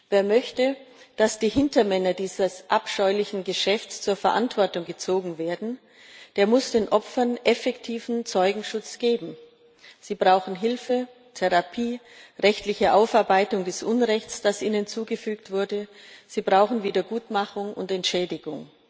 Wer möchte, dass die Hintermänner dieses abscheulichen Geschäfts zur Verantwortung gezogen werden, muss den Opfern effektiven Zeugenschutz geben. Sie brauchen Hilfe, Therapie, rechtliche Aufarbeitung des Unrechts, das ihnen zugefügt wurde, sie brauchen Wiedergutmachung und Entschädigung.